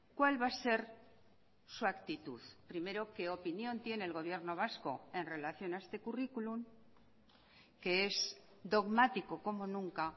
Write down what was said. cuál va a ser su actitud primero qué opinión tiene el gobierno vasco en relación a este currículum que es dogmático como nunca